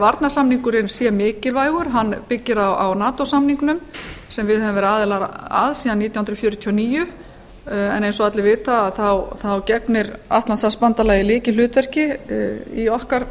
varnarsamningurinn sé mikilvægur hann byggir á nato samningnum sem við höfum verið aðilar að síðan nítján hundruð fjörutíu og níu en eins og allir vita gegnir atlantshafsbandalagið lykilhlutverki í okkar